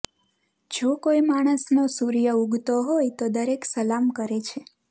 જો કોઈ માણસનો સૂર્ય ઉગતો હોય તો દરેક સલામ કરે છે